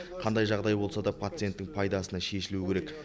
қандай жағдай болса да пациенттің пайдасына шешілуі керек